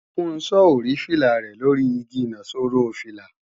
Funso ò rí fìlà rẹ̀ lóri igi ìnaṣọró fìlà